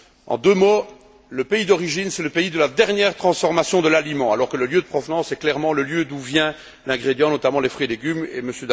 En deux mots, le pays d'origine, c'est le pays de la dernière transformation de l'aliment, alors que le lieu de provenance est clairement le lieu d'où vient l'ingrédient, notamment les fruits et légumes, et M.